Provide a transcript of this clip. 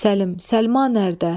Səlim, Səliman hərdə?